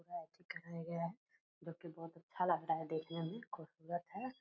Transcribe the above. कराया गया है जो की बहुत अच्छा लग रहा है देखने में खूबसूरत है।